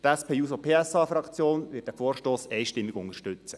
Die SP-JUSO-PSA-Fraktion wird den Vorstoss einstimmig unterstützen.